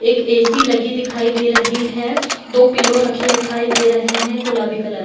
एक ए.सी. लगी दिखाई दे रहे हैं | दो पिलो रखे दिखाई दे रहे हैं | गुलाबी कलर --